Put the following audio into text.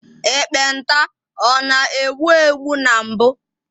Ekpenta ọ na egbu egbu na mbụ.